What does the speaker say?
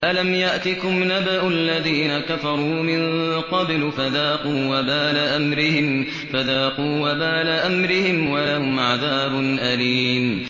أَلَمْ يَأْتِكُمْ نَبَأُ الَّذِينَ كَفَرُوا مِن قَبْلُ فَذَاقُوا وَبَالَ أَمْرِهِمْ وَلَهُمْ عَذَابٌ أَلِيمٌ